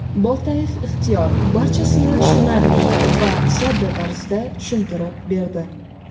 Boltayev Ixtiyor barchasini tushunarli va sodda tarzda tushuntirib berdi.